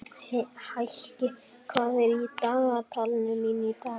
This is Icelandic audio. Heikir, hvað er í dagatalinu mínu í dag?